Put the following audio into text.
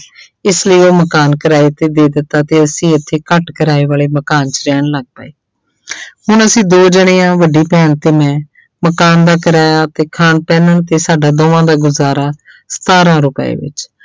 ਇਸ ਲਈ ਉਹ ਮਕਾਨ ਕਿਰਾਏ ਤੇ ਦੇ ਦਿੱਤਾ ਤੇ ਅਸੀਂ ਇੱਥੇ ਘੱਟ ਕਿਰਾਏ ਵਾਲੇ ਮਕਾਨ 'ਚ ਰਹਿਣ ਲੱਗ ਪਏ ਹੁਣ ਅਸੀਂ ਦੋ ਜਾਣੇ ਹਾਂ ਵੱਡੀ ਭੈਣ ਤੇ ਮੈਂ ਮਕਾਨ ਦਾ ਕਿਰਾਇਆ ਤੇ ਖਾਣ ਪੈਨਣ ਤੇ ਸਾਡਾ ਦੋਹਾਂ ਦਾ ਗੁਜ਼ਾਰਾ ਸਤਾਰਾਂ ਰੁਪਏ ਵਿੱਚ।